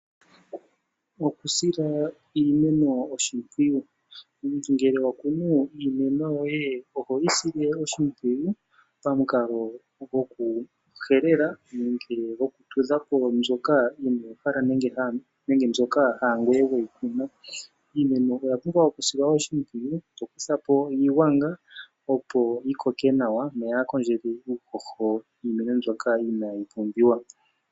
Okusila iimeno oshimpwiyu. Omuntu ngele wa kunu iimeno yoye ohoyi sile oshimpwiyu pamukalo gokuhelela nenge gokutudha po mbyoka inoo hala nenge mbyoka haa ngoye weyi kuna. Iimeno oya pumbwa okusilwa oshimpwiyu to kutha po iigwanga opo yi koke nawa noyaa kondjele uuhoho niimeno mbyoka inaayi pumbiwa.